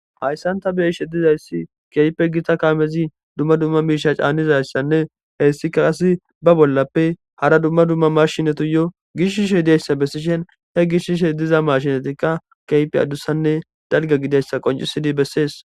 hayssanta beishe dizayssi keype gita kaamezi dumma dumma miisha caanizayssanne heyssikka asi ba bollappe hara dumma dumma marshinatiyo gishshishey diayssa bessishen he gishshishe diza mashinatikka kype adussanne dalga gidayssa qoncisidi bessees